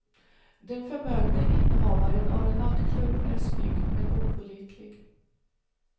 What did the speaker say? Den förmögne innehavaren av en nattklubb är snygg men opålitlig.